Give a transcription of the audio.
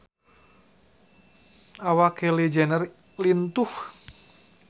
Awak Kylie Jenner lintuh